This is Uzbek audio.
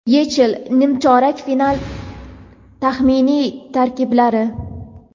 YeChL nimchorak final taxminiy tarkiblari.